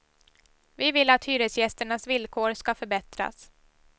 Vi vill att hyresgästernas villkor ska förbättras.